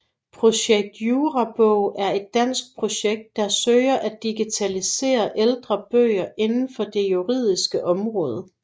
Projekt Jurabog er et dansk projekt der søger at digitalisere ældre bøger indenfor det juridiske område